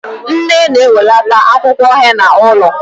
Nne na-enwelata akwụkwọ henna ụlọ